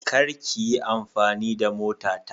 kar kiyi amfani da mota ta.